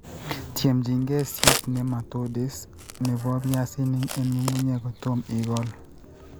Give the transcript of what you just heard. Tyemjingei cyst nematodes ne bo piasinik eng' ng'ung'unyek kotom ikool.